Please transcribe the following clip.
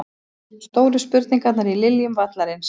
Stóru spurningarnar í Liljum vallarins